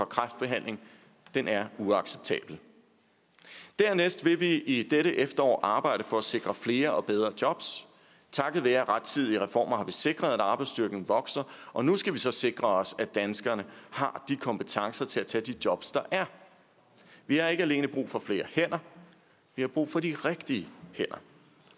kræftbehandling er uacceptabel dernæst vil vi i dette efterår arbejde for at sikre flere og bedre jobs takket være rettidige reformer har vi sikret at arbejdsstyrken vokser og nu skal vi så sikre at danskerne har kompetencerne til at tage de jobs der er vi har ikke alene brug for flere hænder vi har brug for de rigtige hænder